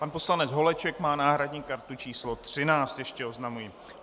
Pan poslanec Holeček má náhradní kartu číslo 13, ještě oznamuji.